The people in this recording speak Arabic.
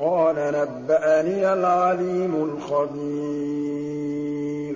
قَالَ نَبَّأَنِيَ الْعَلِيمُ الْخَبِيرُ